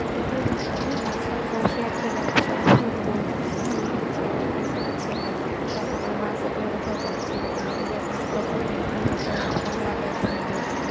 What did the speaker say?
কিন্তু আমি বাসায় বসে একটা rap song শুনবো TV তে ছেড়ে cassette এ ছেড়ে বা তোমার bus এ করে কোথাও যাচ্ছি বাহ বাহিরে যাচ্ছি তখন headphone এ একটা rap song লাগায়ে শুনবো